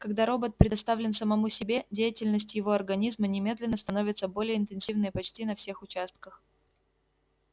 когда робот предоставлен самому себе деятельность его организма немедленно становится более интенсивной почти на всех участках